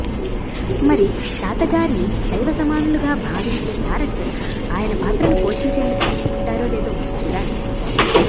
మరి తాతాగారిని దైవ సమానులుగా భావించే తారక్ ఆయన పాత్రను పోషించేందుకు ఒప్పుకుంటారో లేదో చూడాలి